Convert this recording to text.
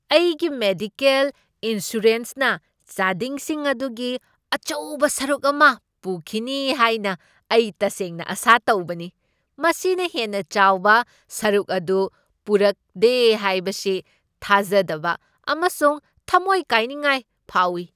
ꯑꯩꯒꯤ ꯃꯦꯗꯤꯋꯦꯜ ꯏꯟꯁꯨꯔꯦꯟꯁꯅ ꯆꯥꯗꯤꯡꯁꯤꯡ ꯑꯗꯨꯒꯤ ꯑꯆꯧꯕ ꯁꯔꯨꯛ ꯑꯃ ꯄꯨꯈꯤꯅꯤ ꯍꯥꯏꯅ ꯑꯩ ꯇꯁꯦꯡꯅ ꯑꯥꯁꯥ ꯇꯧꯕꯅꯤ꯫ ꯃꯁꯤꯅ ꯍꯦꯟꯅ ꯆꯥꯎꯕ ꯁꯔꯨꯛ ꯑꯗꯨ ꯄꯨꯔꯛꯗꯦ ꯍꯥꯏꯁꯤ ꯊꯥꯖꯗꯕ ꯑꯃꯁꯨꯡ ꯊꯃꯣꯏ ꯀꯥꯏꯅꯤꯉꯥꯏ ꯐꯥꯎꯢ ꯫